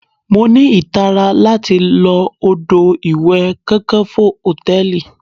Mo ní ìtara láti lo odò ìwẹ̀ Kakanfo Hòtẹ́lìì.